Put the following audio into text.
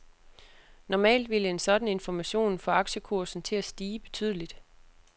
Normalt ville en sådan information få aktiekursen til at stige betydeligt.